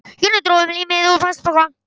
Jonni dró upp límið og plastpokann.